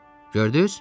Gördüz?